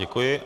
Děkuji.